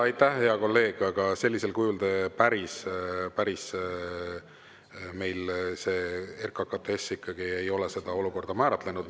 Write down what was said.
Aitäh, hea kolleeg, aga päris sellisel kujul RKKTS ei ole seda olukorda määratlenud.